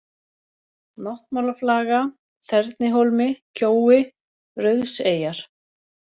Náttmálaflaga, Þernihólmi, Kjói, Rauðseyjar